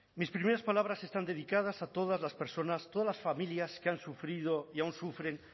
mis primeras palabras están dedicadas a todas las personas todas las familias que han sufrido y aún sufren